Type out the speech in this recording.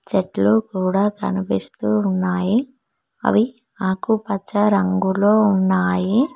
చెట్లు కూడా కనిపిస్తూ ఉన్నాయి అవి ఆకుపచ్చ రంగులో ఉన్నాయి.